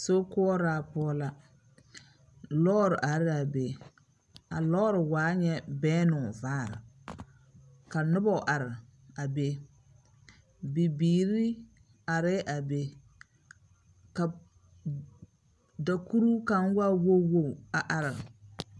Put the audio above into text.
Sokoɔraa poɔ la. Lɔɔre are laa be. A lɔɔre waa nyɛ bɛnnoo vaare. Ka noba are a be. B.biiri arɛɛ a be, ka dakpuruu kaŋa waa wog wog lɛ a araa be.